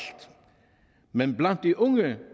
men blandt de unge